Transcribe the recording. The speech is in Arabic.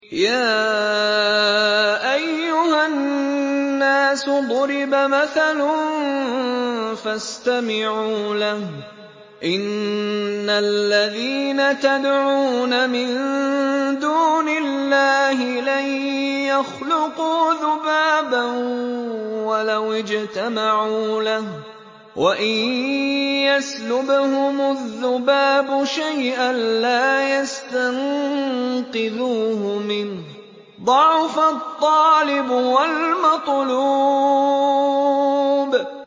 يَا أَيُّهَا النَّاسُ ضُرِبَ مَثَلٌ فَاسْتَمِعُوا لَهُ ۚ إِنَّ الَّذِينَ تَدْعُونَ مِن دُونِ اللَّهِ لَن يَخْلُقُوا ذُبَابًا وَلَوِ اجْتَمَعُوا لَهُ ۖ وَإِن يَسْلُبْهُمُ الذُّبَابُ شَيْئًا لَّا يَسْتَنقِذُوهُ مِنْهُ ۚ ضَعُفَ الطَّالِبُ وَالْمَطْلُوبُ